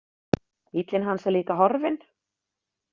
Bíllinn hans er líka horfinn.